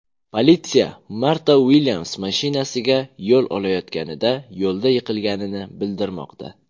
Politsiya Marta Uilyams mashinasiga yo‘l olayotganida yo‘lda yiqilganini bildirmoqda.